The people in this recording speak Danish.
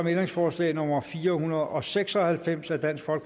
ændringsforslag nummer fire hundrede og seks og halvfems af